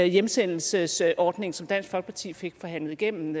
hjemsendelsesordningen som dansk folkeparti fik forhandlet igennem